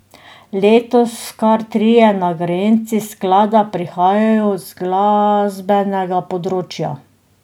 Letos kar trije nagrajenci sklada prihajajo z glasbenega področja.